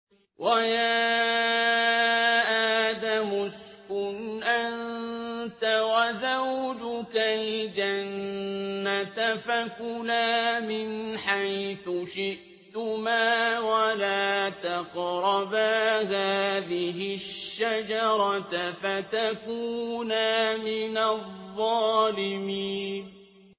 وَيَا آدَمُ اسْكُنْ أَنتَ وَزَوْجُكَ الْجَنَّةَ فَكُلَا مِنْ حَيْثُ شِئْتُمَا وَلَا تَقْرَبَا هَٰذِهِ الشَّجَرَةَ فَتَكُونَا مِنَ الظَّالِمِينَ